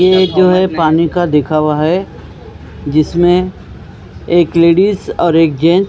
ये जो है पानी का देखा हुआ है जिसमें एक लेडिस और एक जेंट्स --